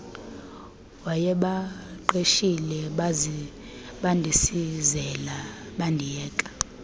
wayebaqeshile bandisizela bandiyeka